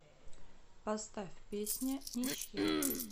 поставь песня ничья